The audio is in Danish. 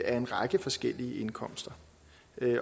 af en række forskellige indkomster